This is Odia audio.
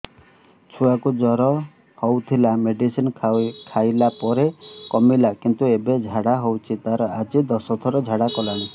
ଛୁଆ କୁ ଜର ହଉଥିଲା ମେଡିସିନ ଖାଇଲା ପରେ କମିଲା କିନ୍ତୁ ଏବେ ଝାଡା ହଉଚି ତାର ଆଜି ଦଶ ଥର ଝାଡା କଲାଣି